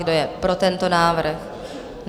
Kdo je pro tento návrh?